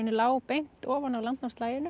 lá beint ofan á